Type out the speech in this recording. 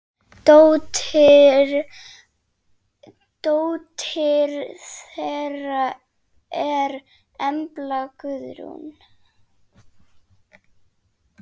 Dóttir þeirra er Embla Guðrún.